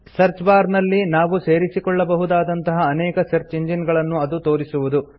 search bar ನಲ್ಲಿ ನಾವು ಸೇರಿಸಿಕೊಳ್ಳಬಹುದಾದಂತಹ ಅನೇಕ ಸರ್ಚ್ ಇಂಜಿನ್ ಗಳನ್ನು ಅದು ತೋರಿಸುವುದು